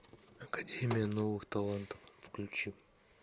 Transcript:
академия новых талантов включи